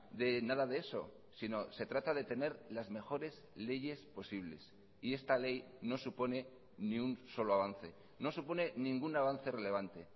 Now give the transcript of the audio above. de nada de eso sino se trata de tener las mejores leyes posibles y esta ley no supone ni un solo avance no supone ningún avance relevante